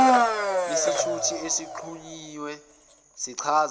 isithuthi esixhunyiwe sichaza